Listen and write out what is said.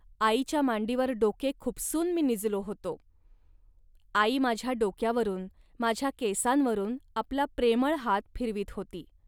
आईच्या मांडीवर डोके खुपसून मी निजलो होतो. आई माझ्या डोक्यावरून, माझ्या केसांवरून आपला प्रेमळ हात फिरवीत होती